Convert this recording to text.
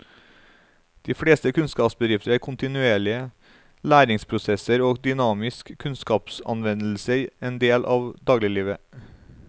I de fleste kunnskapsbedrifter er kontinuerlige læringsprosesser og dynamisk kunnskapsanvendelse en del av dagliglivet.